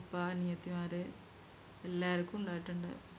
ഉപ്പ അനിയത്തിമാര് എല്ലാരിക്കും ഉണ്ടായിട്ടുണ്ട്